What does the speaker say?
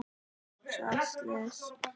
Varð slys?